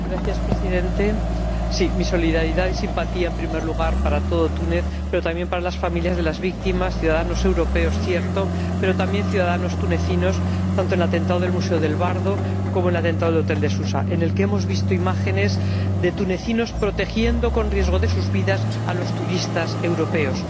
Señor Presidente, mi solidaridad y mi simpatía, en primer lugar, para todo Túnez, pero también para las familias de las víctimas ciudadanos europeos, cierto, pero también ciudadanos tunecinos, tanto en el atentado del Museo del Bardo como en el atentado del hotel de Susa, en el que hemos visto imágenes de tunecinos protegiendo, con riesgo de sus vidas, a los turistas europeos.